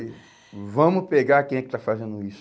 E vamos pegar quem é que está fazendo isso.